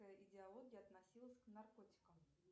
идеология относилась к наркотикам